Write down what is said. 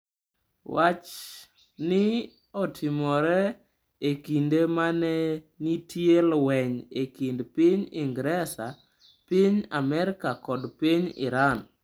Wach ni otimore e kinde ma ne nitie lweny e kind piny Ingresa, piny Amerka kod piny Iran.